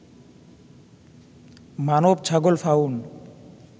মানব-ছাগল fawn